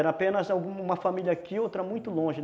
Era apenas uma família aqui e outra muito longe.